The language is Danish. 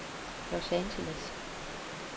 Los Angeles